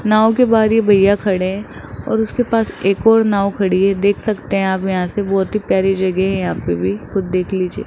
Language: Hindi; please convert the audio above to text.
नाव के बारी एक भैया खड़े हैं और उसके पास एक और नाव खड़ी है देख सकते हैं हम यहां से बहुत ही प्यारी जगह है यहां पे भी खुद देख लीजिए।